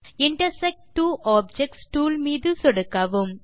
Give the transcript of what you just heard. intersect two objects tool மீது சொடுக்கவும்